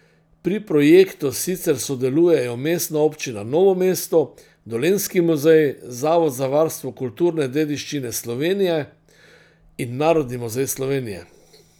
Pri projektu sicer sodelujejo Mestna občina Novo mesto, Dolenjski muzej, Zavod za varstvo kulturne dediščine Slovenije in Narodni muzej Slovenije.